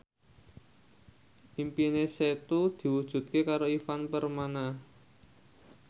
impine Setu diwujudke karo Ivan Permana